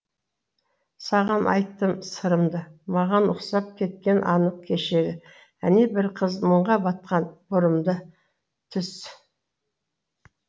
саған айттым сырымды маған ұқсап кеткені анық кешегі әне бір қыз мұңға батқан бұрымды түс